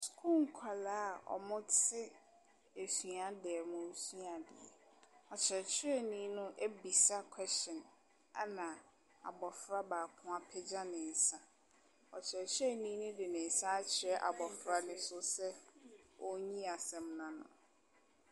Sukuu nkwadaa a wɔte suadan mu resua adeɛ. Ɔkyerɛkyerɛni no abisa question, ɛna abɔfra baako apa ne nsa. Ɔkyerɛkyerɛni no de ne nsa akyerɛ abɔfra no so sɛ ɔnyi asɛm no ano.